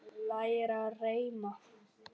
Læra að reima